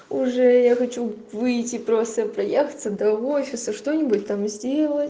уже я хочу выйти просто проехаться до офиса что-нибудь там сделать